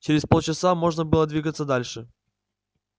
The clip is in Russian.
через полчаса можно было двигаться дальше